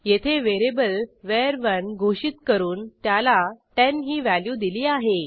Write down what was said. येथे व्हेरिएबलvar1 घोषित करून त्याला 10 ही व्हॅल्यू दिली आहे